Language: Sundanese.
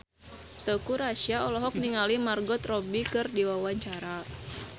Teuku Rassya olohok ningali Margot Robbie keur diwawancara